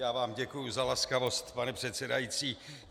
Já vám děkuju za laskavost, pane předsedající.